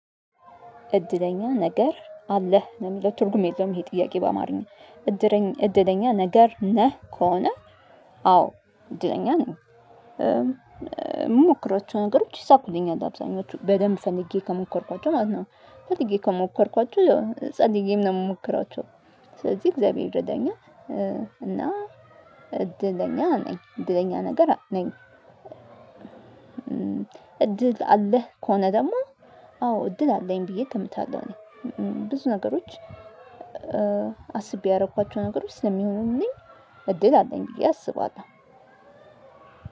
እድለኛ ነገር አለህ ለምለው ትርጉም የለውም ይሄ ጥያቄ በአማርኛ? እድለኛ ነገር ነህ ከሆነ? አዎ እድለኛ ነኝ የምሞክረው ነገሮች ይሳኩልኛል አብዛኞቹ በደንብ ፈልጌ ከሞከርኳቸው ማለት ነው። ፈልጌ ከሞከርኳቸው ጸልዬም ነው የምሞክራቸው ስለዚህ እግዚአብሔር ይርዳኛል። እና እድለኛ ነኝ እድለኛ ነገር ነኝ። እድል አለህ ከሆነ ደግሞ? አዎ እድል አለኝ ብዬ ገምታለው እኔ ብዙ ነገሮች። አስቤ ያደረኳቸው ነገሮች ስለሚሆኑልኝ እድል አለኝ ብዬ አስባለው።